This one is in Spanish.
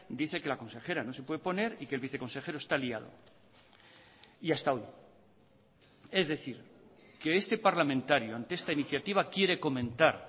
dice que la consejera no se puede poner y que el viceconsejero está liado y hasta hoy es decir que este parlamentario ante esta iniciativa quiere comentar